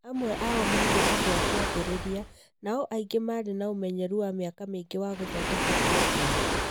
Amwe ao maarĩ andũ a kĩambĩrĩria, nao angĩ maarĩ na ũmenyeru wa mĩaka mĩingĩ wa gũthondeka programu.